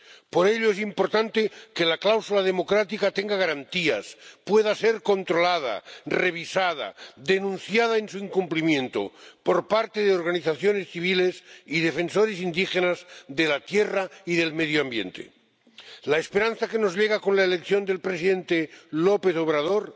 Por ello es importante que la cláusula democrática tenga garantías, pueda ser controlada, revisada, denunciado su incumplimiento por parte de organizaciones civiles y defensores indígenas de la Tierra y del medio ambiente. La esperanza que nos llega con la elección del presidente López Obrador